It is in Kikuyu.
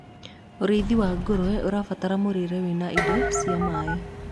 ũrĩithi wa ngurwe ũrabatara mũrĩre wina indo cia maĩ